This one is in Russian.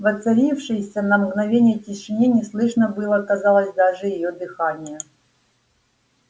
в воцарившейся на мгновение тишине не слышно было казалось даже её дыхания